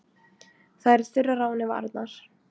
Það eru þurrar á henni varirnar.